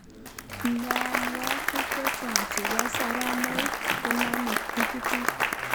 Mnyonwogik chechang chebo soromoik koname tigitik